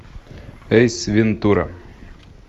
эйс вентура